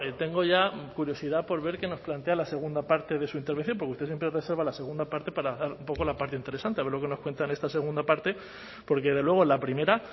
tengo ya curiosidad por ver qué nos plantea la segunda parte de su intervención porque usted siempre reserva la segunda parte para dar un poco la parte interesante a ver lo que nos cuenta en esta segunda parte porque desde luego la primera